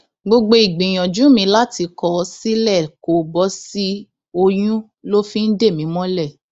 gbogbo ìgbìyànjú mi láti kọ ọ sílẹ kó bọ sí i oyún ló fi ń dè mí mọlẹ